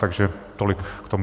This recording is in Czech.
Takže tolik k tomu.